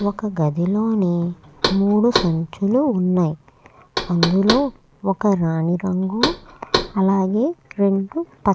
ఒక గడిలోని మూడు సంచల్లు ఉన్నాయి. అందులో ఒక రాణి రంగు పింక్ రంగు--